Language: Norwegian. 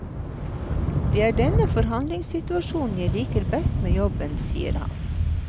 Det er denne forhandlingssituasjonen jeg liker best med jobben, sier han.